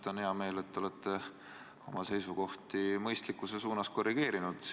On hea meel, et te olete oma seisukohti mõistlikkuse suunas korrigeerinud.